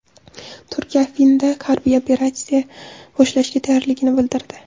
Turkiya Afrinda harbiy operatsiya boshlashga tayyorligini bildirdi.